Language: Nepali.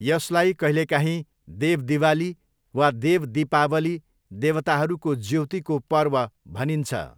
यसलाई कहिलेकाहीँ देव दिवाली वा देव दीपावली, देवताहरूको ज्योतिको पर्व भनिन्छ।